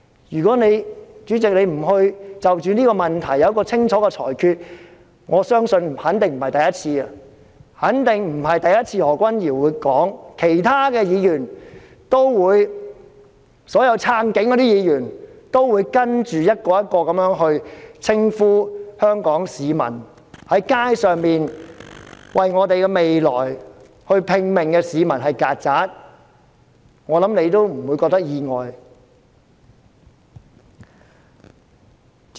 如果主席不就着這個問題作出一項清楚的裁決，我肯定不只是何君堯議員會在議事廳裏這樣說，其他所有"撐警"的議員也會一個接着一個的，在議事廳裏稱呼在街上為我們的未來拼命的香港市民為"曱甴"，我相信你亦不會感到意外。